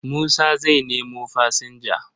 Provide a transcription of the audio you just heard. Musa zai nemo fasinja.